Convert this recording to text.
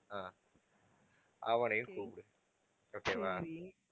அஹ் அவனையும் கூப்பிடு okay வா